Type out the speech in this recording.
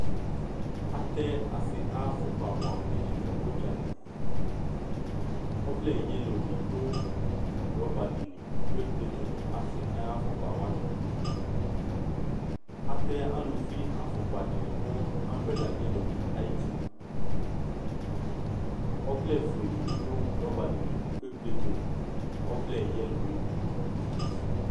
Atɛ ase ayo afokpa buamu de ne no udzali Ɔvlɛ yelo de do rɔba de li ke kpetu no ase ayo afokpa wane Atɛ aluvi afpkla de ne no ambrela yelo de ayiti Ɔvlɛfue de be do rɔba de li ko ekpletu no ɔvlɛ yelo e